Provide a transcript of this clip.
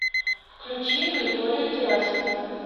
включи григория герасимова